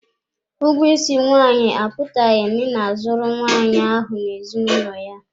Ụgwọ isi nwaanyị apụtaghị na ị na-azụrụ nwaanyị ahụ n'ezinụlọ ya.